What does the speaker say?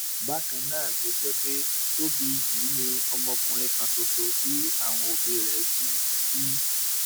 bákan náà ló jẹ pé tóbì yìí ni ọmọkùnrin kan ṣoṣo tí àwọn òbí rẹ bí bí